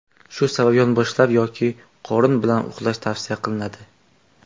Shu sabab yonboshlab yoki qorin bilan uxlash tavsiya qilinadi.